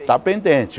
Está pendente.